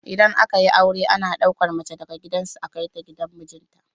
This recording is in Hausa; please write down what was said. Idan aka yi aure ana ɗauka mace daga gidan su a kai ta gidan mijin ta